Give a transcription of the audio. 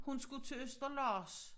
Hun skulle til Østerlars